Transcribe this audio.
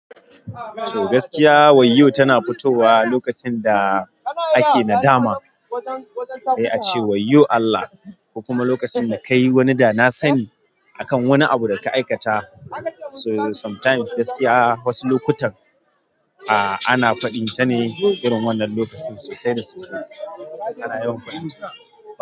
To gaskiya wayyo tana fitowa lokacin da ake nadama, sai a ce wayyo Allah, kuma lokacin da ka yi wani dana sani akan wani abu da ka aikata. So sometimes gaskiya wasu lokutan, a. Ana faɗin ta ne irin wannan lokacin sosai da sosai.